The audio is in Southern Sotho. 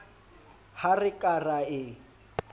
ha re ka ra e